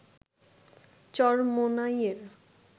চরমোনাইয়ে